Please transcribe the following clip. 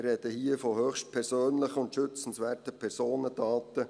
Wir sprechen hier von höchst persönlichen und schützenswerten Personendaten.